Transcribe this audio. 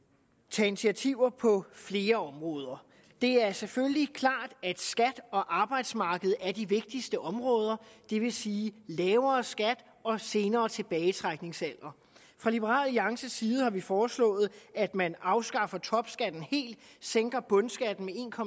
tage initiativer på flere områder det er selvfølgelig klart at skat og arbejdsmarked er de vigtigste områder det vil sige lavere skat og senere tilbagetrækningsalder fra liberal alliances side har vi foreslået at man afskaffer topskatten helt sænker bundskatten